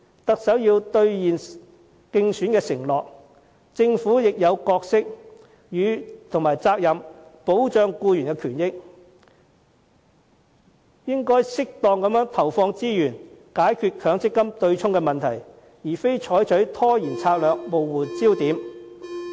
特首要兌現競選承諾，政府亦有角色和責任保障僱員權益，應該適當地投放資源解決強積金對沖問題，而非採取拖延策略，模糊焦點。